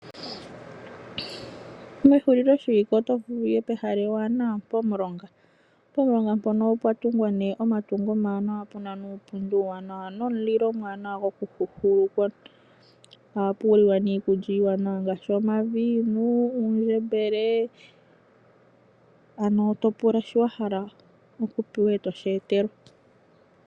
Mehuliloshiwike oto vulu wu ye pehala ewanawa pomulonga. Pomulonga mpono opwa tungwa nduno omatungo omawanawa, pu na uupundi uuwanwa nomulilo omuwanawa gokuhuuhulukwa. Ohapu liwa iikulya iiwanawa ngaashi omavinyu, uundjembele, to pula shoka wa hala e to shi etelwa.